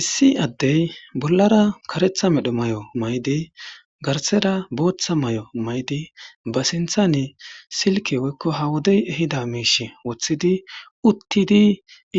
Issi addey bollara karetha medho may'o maydi garsera booththa may'o maydi ba sinthane silke woykko ha wodey ehida miish woththidi uttidi